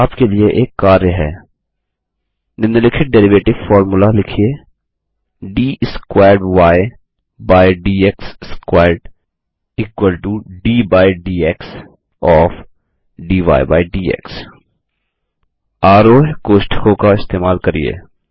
यहाँ आपके लिए एक कार्य है निम्लिखित डेरिवेटिव फोर्मुला लिखिए D squared Y by D X squared equal to to D by DX of आरोह्य कोष्ठकों का इस्तेमाल करिये